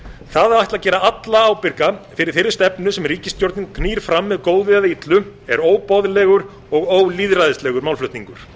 það að ætla að gera alla ábyrga fyrir þeirri stefnu sem ríkisstjórnin knýr fram með góðu eða illu er óboðlegur og ólýðræðislegur málflutningur